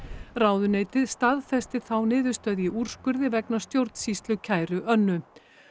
ráðuneytið staðfesti þá niðurstöðu í úrskurði vegna stjórnsýslukæru Önnu